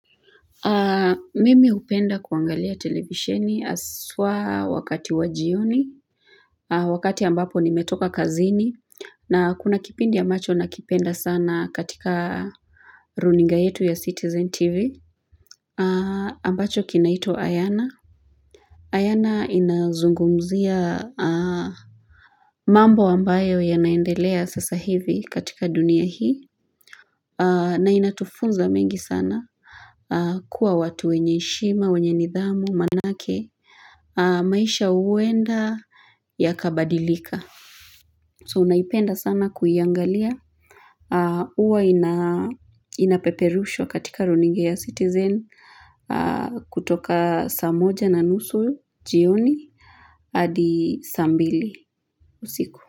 Mimi hupenda kuangalia televisheni haswa wakati wa jioni wakati ambapo nimetoka kazini na kuna kipindi ambacho nakipenda sana katika runinga yetu ya citizen tv ambacho kinaitwa ayana ayana inazungumzia mambo ambayo yanaendelea sasa hivi katika dunia hii na inatufunza mengi sana kuwa watu wenye heshima, wenye nidhamu, manake maisha uwenda yakabadilika so unaipenda sana kuiangalia uwa ina inapeperushwa katika runinga ya citizen kutoka saa moja na nusu jioni hadi saa mbili usiku.